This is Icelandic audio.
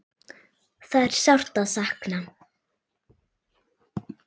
Það er sárt að sakna.